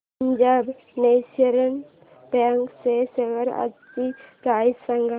Punjab national bank च्या shares आजची price सांगा